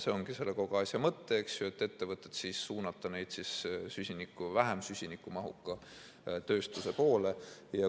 See ongi kogu asja mõte, et ettevõtted suunata vähem süsinikumahuka tööstuse poole.